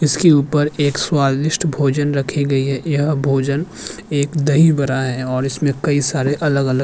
इसके उपर एक सवादिस्ट भोजन रखे गए हैं यह भोजन एक दाहिभाला हैं और इसमें कई सारे अलग-अलग --